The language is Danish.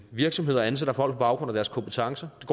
virksomheder ansætter folk på baggrund af deres kompetencer at